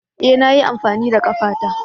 E! Na yi amfani da ƙafata.